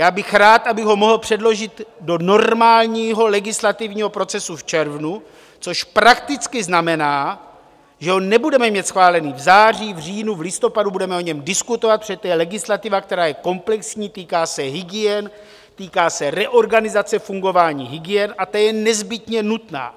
Já bych rád, abych ho mohl předložit do normálního legislativního procesu v červnu, což prakticky znamená, že ho nebudeme mít schválen v září, v říjnu, v listopadu, budeme o něm diskutovat, protože to je legislativa, která je komplexní, týká se hygien, týká se reorganizace fungování hygien, a ta je nezbytně nutná.